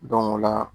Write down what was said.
o la